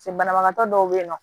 banabagatɔ dɔw be yen nɔ